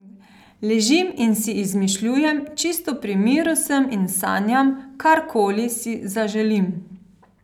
Ležim in si izmišljujem, čisto pri miru sem in sanjam, karkoli si zaželim.